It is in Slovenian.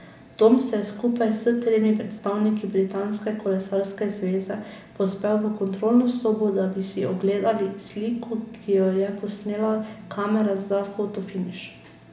Tom se je skupaj s tremi predstavniki Britanske kolesarske zveze povzpel v kontrolno sobo, da bi si ogledali sliko, ki jo je posnela kamera za fotofiniš.